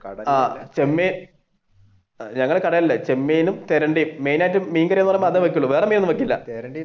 ഞങ്ങളുടെ കടകളിൽ ചെമ്മീനും തിരണ്ടിയും main ആയിട്ട് മീൻ കറി ആകുമ്പൊഴേത്തേക്ക് അതെ വെക്കൂള് വേറെ മീൻ ഒന്നും വെക്കൂല.